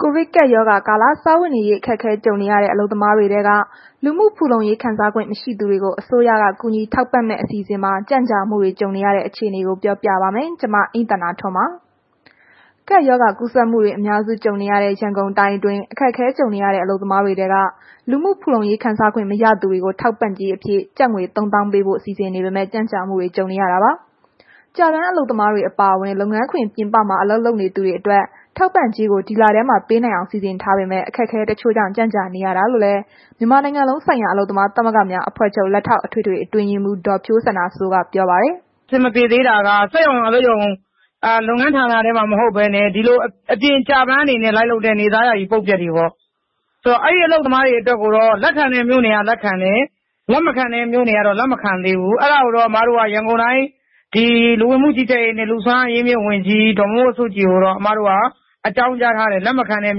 ကိုဗစ်ကပ်ရောဂါကာလ စားဝတ်နေရေး အခက်အခဲကြုံနေရတဲ့ အလုပ်သမားတွေထဲက လူမှုဖူလုံရေးခံစားခွင့် မရှိသူတွေကို အစိုးရက ကူညီထောက်ပံ့မယ့် အစီအစဉ်မှာ ကြန့်ကြာမှုတွေ ကြုံနေရတဲ့အခြေအနေကို ဗွီအိုအေမြန်မာပိုင်းသတင်းထောက် မအိမ့်သန္တာထွန်းက ပြောပြပါပေးမယ်။ ကပ်ရောဂါ ကူးစက်မှုတွေ အများစုကြုံနေရတဲ့ ရန်ကုန်တိုင်းအတွင်း အခက်အခဲကြုံနေရတဲ့ အလုပ်သမားတွေထဲက လူမှုဖူလုံရေး ခံစားခွင့်မရတဲ့သူတွေကို ထောက်ပံ့ကြေးအဖြစ် ကျပ်ငွေ ၃၀,၀၀၀ ပေးဖို့ စီစဉ်နေပေမဲ့ ကြန့်ကြာမှုတွေ ကြုံနေရတာပါ။ ကျပန်းအလုပ်သမားတွေ အပါအဝင် လုပ်ငန်းခွင်အပြင်မှာ အလုပ်လုပ်နေသူတွေအတွက် ထောက်ပံ့ကြေးတွေကို ဒီလထဲမှာ ပေးနိုင်အောင် စီစဉ်ထားပေမဲ့ အခက်အခဲတချို့ကြောင့် ကြန့်ကြာနေရတာလို့လည်း မြန်မာနိုင်ငံ အလုပ်သမားသမဂ္ဂများ အဖွဲ့ချုပ် လက်ထောက် အထွေထွေ အတွင်းရေးမှုး ဒေါ်ဖြိုးစန္ဒာစိုးက ပြောပါတယ်။ “အဆင်မပြေသေးတာက စက်ရုံ၊ အလုပ်ရုံ လုပ်ငန်းဌာနထဲမှာ မဟုတ်ဘဲနဲ့ အပြင်မှာဒီလို ကျပန်းအနေနဲ့ လိုက်လုပ်တဲ့ နေ့စား ယာယီ ပုတ်ပြတ်တွေပေါ့။ အဲ့ဒီအလုပ်သမားတွေအတွက်ကိုတော့ လက်ခံတဲ့ မြို့နယ်က လက်ခံတယ်။ လက်မခံတဲ့ မြို့နယ်ကတော့ လက်မခံသေးဘူး။ အဲ့ဒါကို အမတို့ ဒီ ရန်ကုန်တိုင်း လူဝင်မှု ကြီးကြပ်ရေးနှင့် လူ့စွမ်းအားအရင်းအမြစ်ဝန်ကြီး ဒေါ်မိုးမိုးစုကြည်ကိုတော့ အမတို့က အကြောင်းကြားထားတယ်။ လက်မခံတဲ့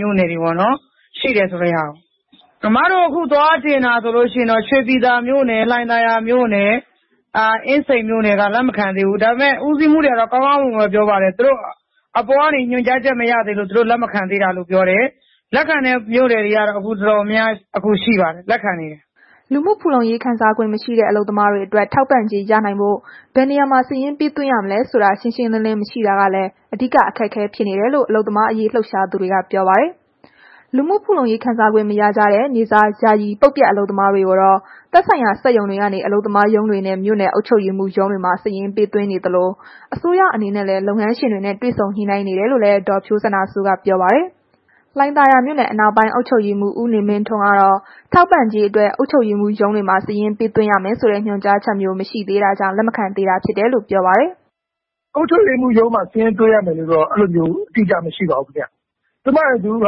မြို့နယ်တွေပေါ့နော်.. ရှိတယ်ဆိုတဲ့ ဟာကို။ အမတို့ အခု သွားတင်တာဆိုလို့ရှိရင်တော့ လှိုင်သာယာမြို့နယ်၊ ရွှေပြည်သာမြို့နယ်၊ အင်းစိန်မြို့နယ်က လက်မခံသေးဘူး။ ဒါပေမယ့် ဦးစီးမှူးတွေကတော့ ကောင်းကောင်းမွန်မွန်ပဲ ပြောပါတယ်။ သူတို့ အပေါ်ကနေ ညွှန်ကြားချက်မရသေးလို့ သူတို့ လက်မခံသေးတာလို့ ပြောတယ်။ လက်ခံတဲ့ မြို့နယ်တွေကတော့ တော်တော်များများရှိပါတယ်။ အခုလက်ခံနေတယ်။” လူမှုဖူလုံရေး ခံစားခွင့်မရှိတဲ့ အလုပ်သမားတွေအတွက် ထောက်ပံ့ကြေးရနိုင်ဖို့ ဘယ်နေရာမှာ စာရင်းပေးရမလဲဆိုတာ ရှင်းရှင်းလင်းလင်း မရှိတာကလည်း အဓိက အခက်အခဲဖြစ်နေတယ်လို့ အလုပ်သမားရေး လှုပ်ရှားသူတွေက ပြောပါတယ်။ လူမှုဖူလုံရေး ခံစားခွင့်မရကြတဲ့ နေ့စားယာယီ ပုတ်ပြတ် အလုပ်သမားတွေကိုတော့ သက်ဆိုင်ရာစက်ရုံတွေကနေ အလုပ်သမားရုံးတွေနဲ့ မြို့နယ် အုပ်ချုပ်ရေးမှူးရုံးတွေမှာ စာရင်းသွင်းပေးနေသလို အစိုးရအနေနဲ့လည်း လုပ်ငန်းရှင်တွေနဲ့ တွေဆုံညှိနှိုင်းနေတယ်လို့လည်း ဒေါ်ဖြိုးစန္ဒာစိုးက ပြောပါတယ်။ လှိုင်သာယာမြို့နယ် အနောက်ပိုင်း အုပ်ချုပ်ရေးမှူး ဦးနေမင်းထွန်းကတော့ ထောက်ပံ့ကြေးအတွက် အုပ်ချုပ်ရေးမှူးရုံးတွေမှာ စာရင်းပေးသွင်းရမယ်ဆိုတဲ့ ညွှန်ကြားချက်မျိုး မရှိသေးတာကြောင့် လက်မခံသေးတာလို့ ပြောပါတယ်။ “အုပ်ချုပ်ရေးမှူးရုံးမှာ စာရင်းသွင်းရမယ်လို့တော့ အဲ့လိုတော့ အတိအကျ မရှိပါဘူးခင်ဗျ၊ ဇုန်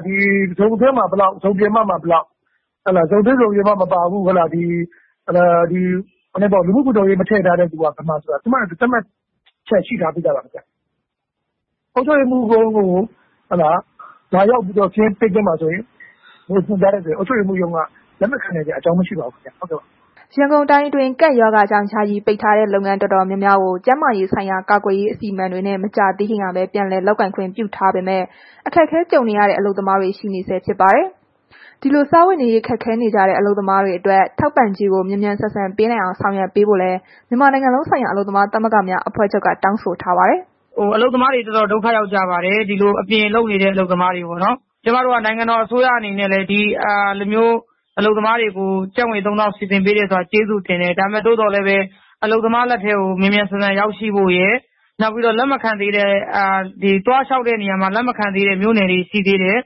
အတွင်းမှာ ဘယ်လောက်၊ ဇုန်ပြင်ပမှာ ဘယ်လောက် ဇုန်တွင်း ဇုန်ပြင်ပ မပါဘူး၊ ဒီ လူမှုဖူလုံရေး မထည့်ထားတဲ့သူက ဘယ်မှာဆိုတာ သူ့ဟာနဲ့သူ သတ်မှတ်ချက်ရှိထားပြီးသားပါ ခင်ဗျ။ အုပ်ချုပ်ရေးမှူးရုံးကို လာရောက်ပြီးတော့ စာရင်းပေးသွင်းပါဆိုရင် ညွှန်ကြားထားရင် အုပ်ချုပ်ရေးမှူးရုံးက လက်မခံစရာ မရှိပါဘူးခင်ဗျ။” ရန်ကုန်တိုင်းအတွင်း ကပ်ရောဂါကြောင့် ယာယီပိတ်ထားတဲ့ လုပ်ငန်းတော်တော်များများကို ကျန်းမာရေးဆိုင်ရာ ကာကွယ်ရေး အစီအမံတွေနဲ့ မကြာသေးခင်ကပဲ ပြန်လည်လုပ်ကိုင်ခွင့် ပြုထားပေမဲ့ အခက်အခဲကြုံနေရတဲ့ အလုပ်သမားတွေ ရှိနေဆဲဖြစ်ပါတယ်။ ဒီလိုစားဝတ်နေရေး ခက်ခဲနေကြတဲ့ အလုပ်သမားတွေအတွက် ထောက်ပံ့ကြေးကို မြန်မြန်ဆန်ဆန်ပေးနိုင်အောင် ဆောင်ရွက်ပေးဖို့လည်း မြန်မာနိုင်ငံလုံးဆိုင်ရာ အလုပ်သမားသမဂ္ဂများ အဖွဲ့ချုပ်က တောင်းဆိုထားပါတယ်။ “အလုပ်သမားတွေ တော်တော်ဒုက္ခရောက်ကြပါတယ်။ အပြင်လုပ်နေတဲ့ အလုပ်သမားတွေပေါ့နော်။ ကျမတို့က နိုင်ငံတော် အစိုးရအနေနဲ့လည်း ဒီလိုမျိုး ကျပ်ငွေ ၃၀,၀၀၀ စီစဉ်ပေးတဲ့အတွက် ကျေးဇူးတင်တယ်။ ဒါပေမဲ့ အလုပ်သမားလက်ထဲကို မြန်မြန်ဆန်ဆန်ရောက်ရှိဖို့ရယ်၊ နောက်ပြီးတော့ သွားလျှောက်တဲ့ အခါ လက်မခံသေးတဲ့ မြို့နယ်တွေ ရှိသေးတယ်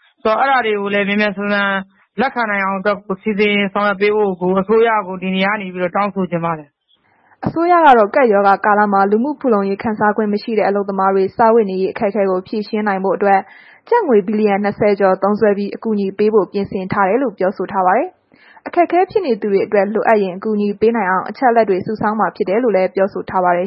။ ဆိုတော့ အဲ့ဒါတွေကိုလည်း မြန်မြန်ဆန်ဆန် လက်ခံနိုင်အောင်အတွက်ကို စီစဉ်ဆောင်ရွက်ပေးဖို့ အစိုးရကို ဒီနေရာကနေပြီးတော့ တောင်းဆိုချင်ပါတယ်။” အစိုးရကတော့ ကပ်ရောဂါကာလမှာ လူမှုဖူလုံရေးခံစားခွင့် မရှိတဲ့ အလုပ်သမားတွေ စားဝတ်နေရေး အခက်အခဲကို ဖြေရှင်းနိုင်ဖို့အတွက် ကျပ်ငွေဘီလီယံ ၂၀ ကျော်သုံးစွဲပြီး အကူအညီပေးဖို့ ပြင်ဆင်ထားကြောင်း ပြောဆိုထားပါတယ်။ အခက်အခဲဖြစ်နေသူတွေအတွက် လိုအပ်ရင် အကူအညီပေးနိုင်အောင် အချက်အလက်တွေ စုဆောင်းမှာ ဖြစ်ကြောင်းလည်း ပြောဆိုထားပါတယ်